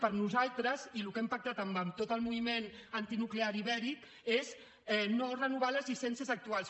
per nosaltres i el que hem pactat amb tot el moviment ibèric antinuclear és no renovar les llicències actuals